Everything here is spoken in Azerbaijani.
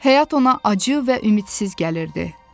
Həyat ona acı və ümidsiz gəlirdi.